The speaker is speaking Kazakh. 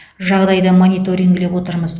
жағдайды мониторингілеп отырмыз